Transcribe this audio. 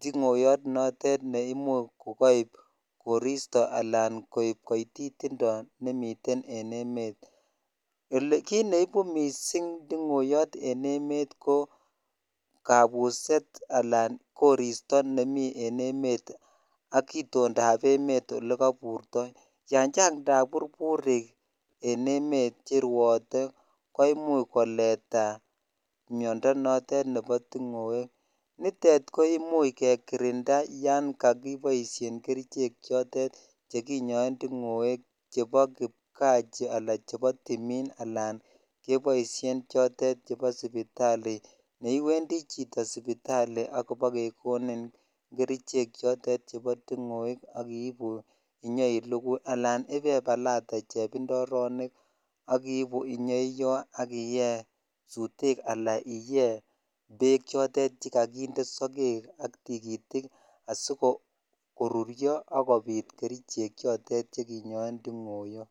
tiong'oyot notet neimuch kokoib koristo alaan koib kotitindo nemiten en emet, elee kiit neibu mising ting'oyot en emet ko kabuset alaan koristo nemii en emet ak itondab emet elekoburto, yoon chang taburburik en emet cherwote koimuch koleta miondo notet nebo ting'oek nitet koimuch kekirinda yoon kakiboishen kerichek chotet chekinyoen ting'oek chebo kipkaa alaa chebo timin alaan keboishen chotet chebo sipitali neiwendi chito sipitali ak kobokekonin kerichek chotet chebo ting'oek ak iibu inyoilukui alaan ibebalate chebindoronik ak iibu inyoiyo ak iyee sutek alaa iyee beek chotet chekokinde sokek ak tikitik asikorurio ak kobit kerichek chotet chekinyoen ting'oyot.